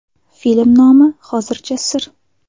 Film nomi hozircha sir.